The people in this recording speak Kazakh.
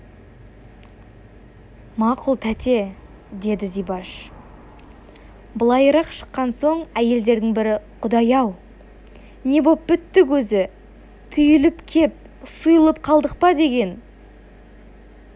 мақұл тәте деді зибаш былайырақ шыққан соң әйелдердің бірі құдай-ау не боп біттік өзі түйіліп кеп сұйылып қалдық па деген